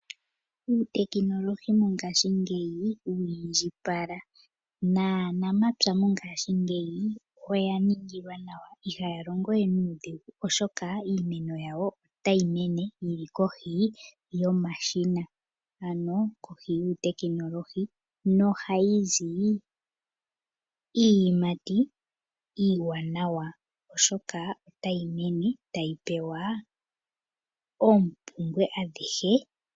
Uutekinolohi mongaashi ngeyi wiindjipala naa nampya mongashingeyi oya ningilwa nawa, ihaya longo we nuudhigu oshoka iimeno yawo otayimene yilikoshi yomashina, ano kohi yuu tekinolohi nohayizi iiyimati iiwanawa oshoka otayi mene tayi pewa oompubwe adhihe.